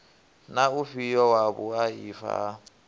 na ufhio wa vhuaifa ha